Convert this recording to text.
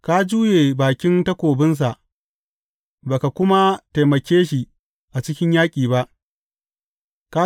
Ka juye bakin takobinsa ba ka kuma taimake shi a cikin yaƙi ba.